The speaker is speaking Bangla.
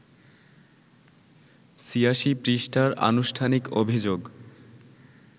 ৮৬ পৃষ্ঠার আনুষ্ঠানিক অভিযোগ